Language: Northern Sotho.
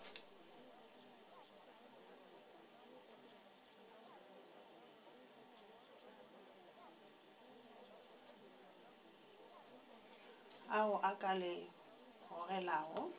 ao a ka le gogelago